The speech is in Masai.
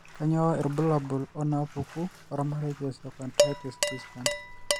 Kainyio irbulabul onaapuku ormarei leosteochondritis dissecans?